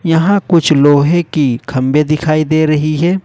यहां कुछ लोहे की खंभे दिखाई दे रही है।